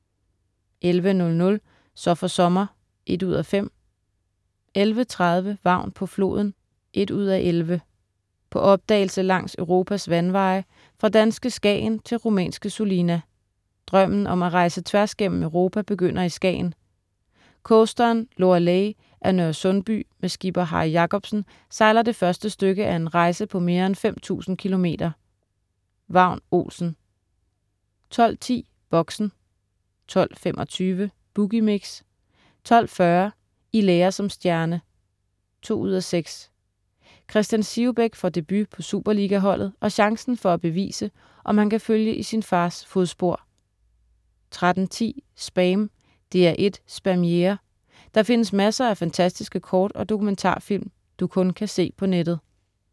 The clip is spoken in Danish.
11.00 Så for sommer 1:5* 11.30 Vagn på floden 1:11 På opdagelse langs Europas vandveje, fra danske Skagen til rumænske Sulina. Drømmen om at rejse tværs gennem Europa begynder i Skagen. Coasteren "Lorelei" af Nørresundby med skipper Harry Jacobsen sejler det første stykke af en rejse på mere end 5000 km. Vagn Olsen 12.10 Boxen 12.25 Boogie Mix* 12.40 I lære som stjerne 2:6. Christian Sivebæk får debut på superligaholdet og chancen for at bevise, om han kan følge i sin fars fodspor 13.10 SPAM. DR1 Spamiere. Der findes masser af fantastiske kort- og dokumentarfilm, du kun kan se på nettet